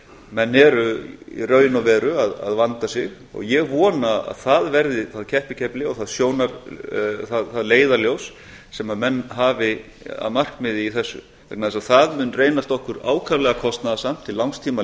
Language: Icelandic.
menn eru í raun og veru að vanda sig og ég vona að það verði þá keppikefli og það leiðarljós sem menn hafa að markmiði í þessu vegna þess að það mun reynast okkur ákaflega kostnaðarsamt til langs tíma